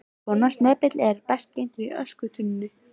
Svona snepill er best geymdur í öskutunnunni.